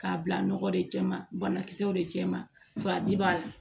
K'a bila nɔgɔ de cɛman bana kisɛw de cɛ ma faji b'a la